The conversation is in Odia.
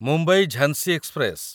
ମୁମ୍ବାଇ ଝାଂସି ଏକ୍ସପ୍ରେସ